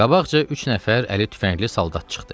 Qabaqca üç nəfər əli tüfəngli saldat çıxdı.